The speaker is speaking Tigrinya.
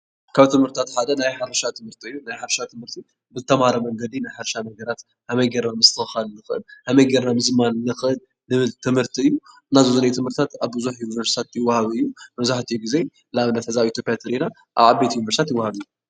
ካብ ትምህርትታት ሓደ ናይ ሕርሻ ትምህርቲ እዩ፡፡ ናይ ሕርሻ ትምህርቲ ብተማለአ መንገዲ ናይ ሕርሻ ነገራት ከመይ ጌርና ምስትኽኻል ንኽእል፣ ከመይ ጌርና ምዝማን ንኽእል ልብል ትምህርቲ እዩ፡፡ እና ዘብዚኒሀ ትምህርትታት ኣብ ብዙሕ ዩኒቨርስቲታት ይዋሃብ እዩ፡፡ መብዛሕቲኡ ጊዜ ንኣብነት ኣብ ኢትዮፒያ ተሪኢና ኣብ ዓበይቲ ዩኒቨርስትታት ይዋሃብ እዩ፡፡